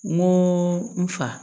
N ko n fa